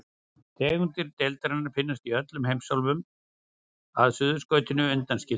Tegundir deildarinnar finnast í öllum heimsálfum að Suðurskautslandinu undanskildu.